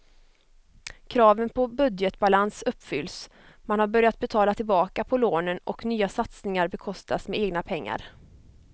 Kraven på budgetbalans uppfylls, man har börjat betala tillbaka på lånen och nya satsningar bekostas med egna pengar.